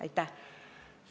Aitäh!